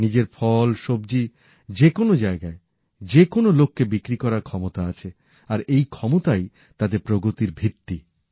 নিজের ফল সবজিগুলো যেকোনো জায়গার যে কোনো লোককে বিক্রি করার ক্ষমতা আছে আর এই ক্ষমতাই তাঁদের প্রগতির ভিত্তি